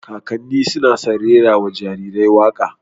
Kakanni suna san rera wa jarirai waƙa